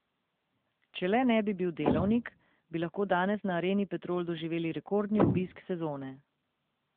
Če le ne bi bil delavnik, bi lahko danes na Areni Petrol doživeli rekordni obisk sezone.